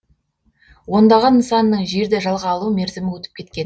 ондаған нысанның жерді жалға алу мерзімі өтіп кеткен